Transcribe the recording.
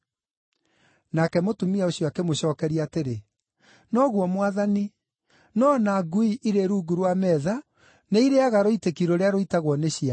Nake mũtumia ũcio akĩmũcookeria atĩrĩ, “Noguo Mwathani, no o na ngui irĩ rungu rwa metha nĩ irĩĩaga rũitĩki rũrĩa rũitagwo nĩ ciana.”